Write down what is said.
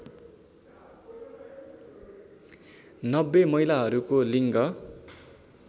९० महिलाहरूको लिङ्ग